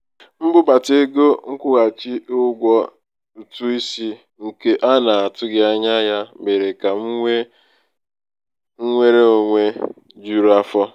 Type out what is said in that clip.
okenye di na nwunye ahụ ji um ebenchekwa ego nke aapụ ekwentị kwụnyere ụmụ ụmụ ego na-enweghi nsogbu um ọbụla. um